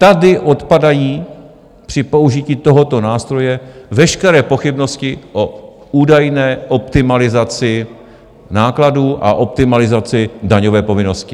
Tady odpadají při použití tohoto nástroje veškeré pochybnosti o údajné optimalizaci nákladů a optimalizaci daňové povinnosti.